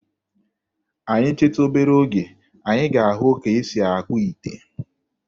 Anyị chetu obere oge, anyị ga-ahụ ka e si akpụ ite.